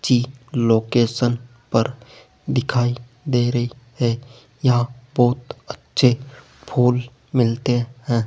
ची लोकेशन पर दिखाई दे रही है यहां बहोत अच्छे फूल मिलते हैं।